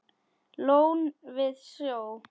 Lón við sjó.